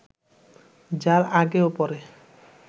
যার আগে ও পরে